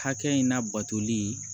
Hakɛ in labatoli